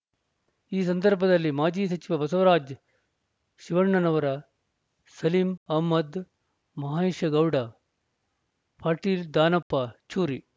ಈ ಸಂದರ್ಬದಲ್ಲಿ ಮಾಜಿ ಸಚಿವ ಬಸವರಾಜ್ ಶಿವಣ್ಣನವರ ಸಲಿಂ ಅಹಮ್ಮದ ಮಹೇಶಗೌಡ ಪಾಟೀಲ್ ದಾನಪ್ಪ ಚೂರಿ